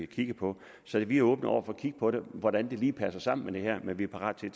kigget på så vi er åbne over for at kigge på hvordan det lige passer sammen med det her men vi er parat til